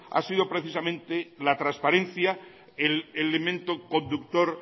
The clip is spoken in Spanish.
ha sido precisamente la transparencia el elemento conductor